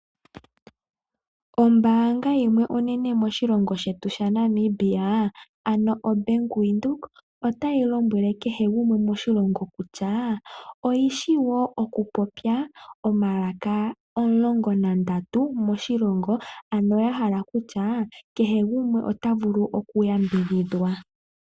Ombaanga yimwe onene moshilongo shetu sha Namibia ano o Bank Windhoek otayi lombwele kehe gumwe moshilongo kutya oyishi woo okupopya omalaka omulongo nandatu moshilongo ano yahala okutya kehe gumwe ota vulu oku yambidhidhwa.